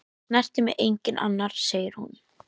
Það snertir mig enginn annar, segir hún.